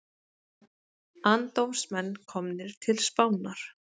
Andófsmenn komnir til Spánar